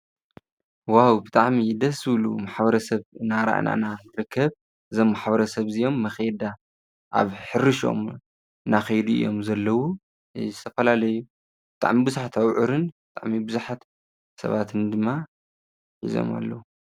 ዎዎ ብጣዕሚ ደስ ዝብሉ ማሕበረስብ እናረኣና ኢና ንርከብ እዞም ማሕበረሰብ እዚኦም መኼዳ ኣብ ሕርሽኦም እና ኬይዱ እዮም ዘለዉ ዝተፈላለዩ ብጣዕሚ ቡዙሓት ኣቡዕርን ብጣዕሚ ቡዙሓት ሰባትን ድማ ሒዞም ኣለዉ።